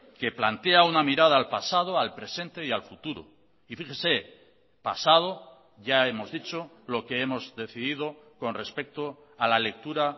que plantea una mirada al pasado al presente y al futuro y fíjese pasado ya hemos dicho lo que hemos decidido con respecto a la lectura